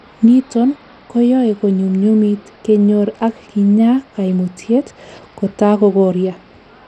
niton koyoe konyumnyumit kenyor ak kinyaa kaimutyet kotakokoria